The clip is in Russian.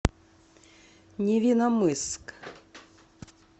невинномысск